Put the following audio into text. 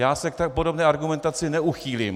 Já se k podobné argumentaci neuchýlím.